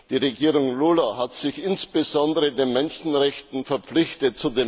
Die Regierung Lula hat sich insbesondere den Menschenrechten verpflichtet.